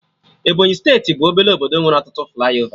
Ebọnyị steeti bụ obele obodo nwere ọtụtụ flaiova